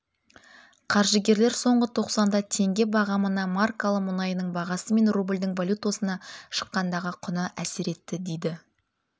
қаржыгерлер соңғы тоқсанда теңге бағамына маркалы мұнайының бағасы мен рубльдің валютасына шаққандағы құны әсер етті дейді